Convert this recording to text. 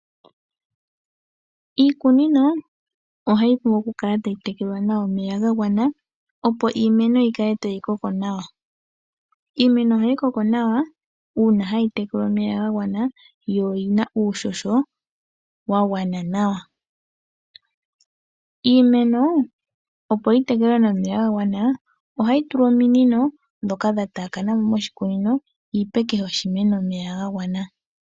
Iikunino ohayi vulu okukala tayi tekelwa nawa omeya ga gwana opo iimeno yikale tayi koko nawa. Iimeno ohayi koko nawa uuna hayi tekelwa omeya gagwana yo oyina uuhoho wagwana nawa. Iimeno opo yitekelwe nee omeya gagwana ohayi tulwa ominino ndhoka dhataakana mo moshikunino yipe kehe oshimeno omeya gagwana.